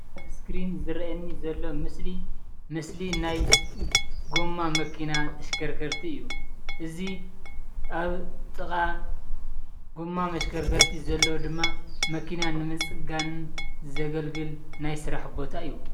ኣብ እስክሪን ዝሪአየና ዘሎ ምስሊ ምስሊ ናይ ጎማ መኪና ተሽከርከርቲ እዬ። እዚ አብ ጥቃ ጎማ መሽከርከሪ ዘሎ ድማ መኪና ንምፅጋን ዘገልግል ናይ ስራሕ ቦታ እዩ።